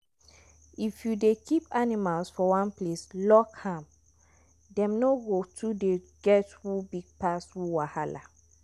if you dey keep animals for one place lock am them no go too dey get who big pass who wahala.